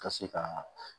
Ka se ka